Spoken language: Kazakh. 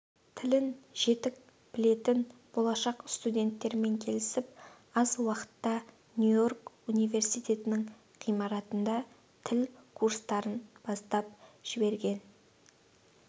тілін жетік білетін болашақ студенттерімен келісіп аз уақытта нью-йорк университетінің ғимаратында тіл курстарын бастап жіберген